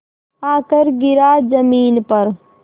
आकर गिरा ज़मीन पर